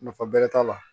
Nafa bɛrɛ t'a la